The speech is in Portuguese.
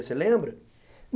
Você lembra?